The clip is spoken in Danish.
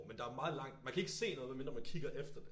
Men der meget langt man kan ikke se nogen med mindre man kigger efter det